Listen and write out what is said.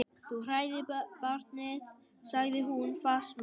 Þú hræðir barnið, sagði hún fastmælt.